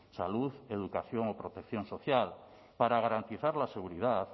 salud educación o protección social para garantizar la seguridad